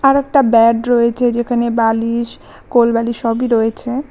একটা ব্যাড রয়েছে যেখানে বালিশ কোল বালিশ সবই রয়েছে।